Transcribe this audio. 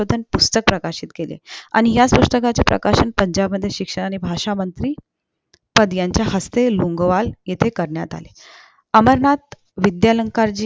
पुस्तक प्रकाशित केले आणि या पुस्तकाचे प्रकाशन पंजाबमध्ये शिक्षा आणि भाषा मंत्री पद यांच्या हस्ती लोंगोवाल येथे करण्यात आले अमरनाथ विद्यालंकाराची